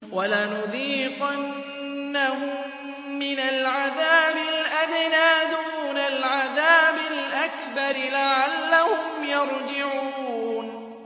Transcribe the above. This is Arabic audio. وَلَنُذِيقَنَّهُم مِّنَ الْعَذَابِ الْأَدْنَىٰ دُونَ الْعَذَابِ الْأَكْبَرِ لَعَلَّهُمْ يَرْجِعُونَ